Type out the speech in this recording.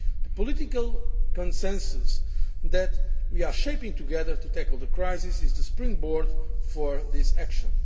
The political consensus that we are shaping together to tackle the crisis is the springboard for this action.